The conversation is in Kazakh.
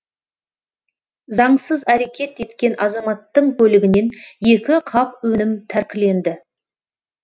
заңсыз әрекет еткен азаматтың көлігінен екі қап өнім тәркіленді